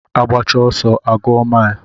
Agbacha ọsọ a gụọ mile